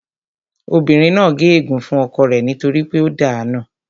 Obìnrin náà gé ègún fún ọkọ rẹ nítorí pé ó dàá nù